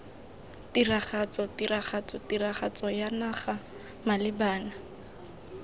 tiragatso tiragatso tiragatsoya naga malebana